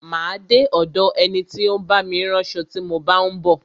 Má a de ọ̀do ẹni tí ó ń bá mi ránṣo tí mo bá ń bọ̀.